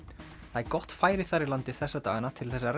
það er gott færi þar í landi þessa dagana til þess að